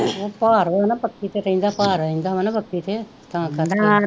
ਭਾਰ ਹੋਵੇ ਨਾਂ ਬੱਖੀ ਤੇ ਰਹਿੰਦਾ ਭਾਰ ਹੋਵੇ ਨਾਂ ਬੱਖੀ ਤੇ ਤਾਂ ਕਰਕੇ ਤਾਂ,